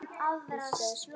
Við sjáumst bara seinna.